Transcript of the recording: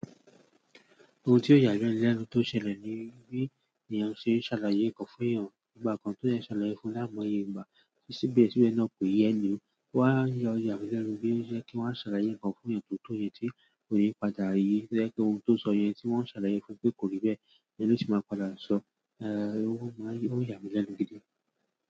Ohun tí ó yà mí lẹ́nu tó ṣẹlẹ̀ ni bí ènìyàn ṣe ń ṣàlàyé ǹkan fún ènìyàn nígbà kan, tó jẹ ń ṣàlàyé fún láimoyé ígbà tí síbẹ̀ síbẹ̀ náà pé eni hun Wọ́n á yọ̀ já fẹ́ lẹ́nu wípé ṣe kí wón ṣàlàyé ǹkan fún ènìyàn tó mọ ohun tí ènìyàn padà rí. Ṣe kí ohun tó sọ yẹn tí wón ṣàlàyé fún pé kò rí bẹ́ẹ̀, ènìyàn sì máa padà sọ, ẹ́ẹ́, ó máa n yà mi lẹ́nu gidi.